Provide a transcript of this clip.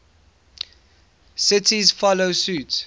cities follow suit